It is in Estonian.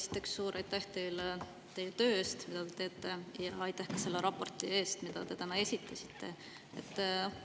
Esiteks, suur aitäh teile teie töö eest, mida te teete, ja aitäh ka selle raporti eest, mida te täna esitasite!